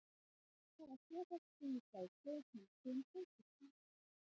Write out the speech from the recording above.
Margir hafa sérhæft sig í fræðslu eða kennslu um samskiptamál.